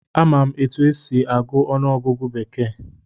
Amaara m etu e si agụ ọnụọgụgụ bekee